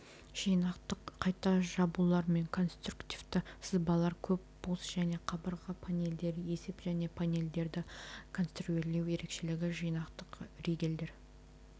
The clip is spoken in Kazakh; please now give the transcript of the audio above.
жинақтық қайта жабулар мен конструктивті сызбалар көп бос және қабырға панелдері есеп және панелдерді конструирлеу ерекшелігі жинақтық ригельдер